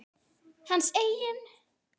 Hans eigin?